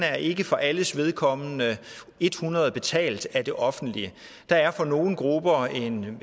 er ikke for alles vedkommende et hundrede procent betalt af det offentlige der er for nogle grupper en